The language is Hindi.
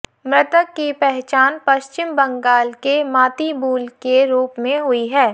मृतक की पहचान पश्चिम बंगाल के मातिबूल के रूप में हुई है